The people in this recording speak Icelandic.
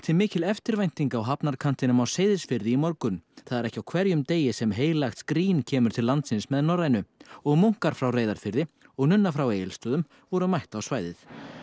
mikil eftirvænting á hafnarkantinum á Seyðisfirði í morgun það er ekki á hverjum degi sem heilagt skrín kemur til landsins með Norrænu og munkar frá Reyðarfirði og nunna frá Egilsstöðum voru mætt á svæðið